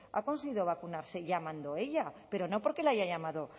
ha conseguido vacunarse llamando ella pero no porque la haya llamado